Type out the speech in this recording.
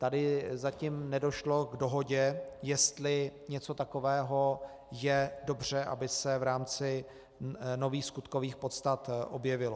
Tady zatím nedošlo k dohodě, jestli něco takového je dobře, aby se v rámci nových skutkových podstat objevilo.